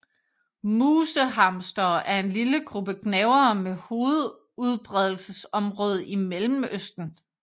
Musehamstere er en lille gruppe gnavere med hovedudbredelsesområde i Mellemøsten